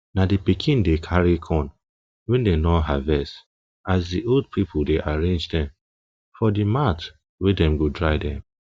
na di pikin dey carry corn wey dem don harvest as di old pipo dey arrange dem for di mat wey dem go dry dem